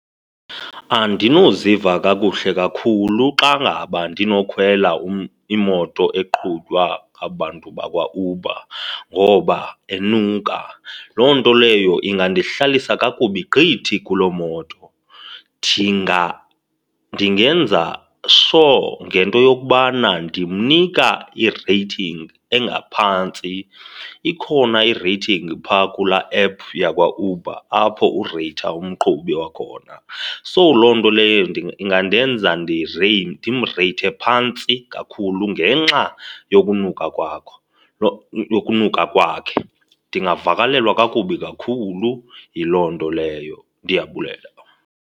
Andinoziva kakuhle kakhulu xa ngaba ndinokhwela imoto eqhutywa ngaba bantu bakwaUber ngoba enuka, loo nto leyo ingandihlalisa kakubi gqithi kuloo moto. Ndingenza sure ngento yokubana ndimnika i-rating engaphantsi. Ikhona i-rating phaa kulaa app yakwaUber apho ureytha umqhubi wakhona, so loo nto leyo ingandenza ndimreythe phantsi kakhulu ngenxa yokunuka kwakho, yokunuka kwakhe. Ndingavakalelwa kakubi kakhulu yiloo nto leyo. Ndiyabulela .